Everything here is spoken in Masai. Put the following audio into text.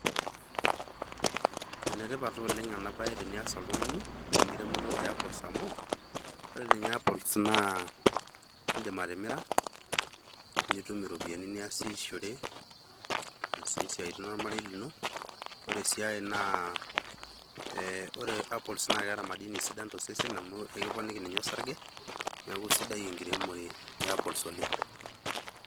Enetipat taa ena bae ooleng tenias oltungani ekiremoto oe apples amu ore ninye apples naa idim atimira, nitum ropiyiani niasishore aasie siatin ormarei lino. Ore si ai naa eh ore apples naa eeta madini sidan to sesen amu eikiponiki ninye osarge neaku sidai ekiremore e apples ooleng.